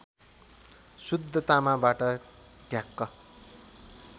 शुद्ध तामाबाट ढ्याक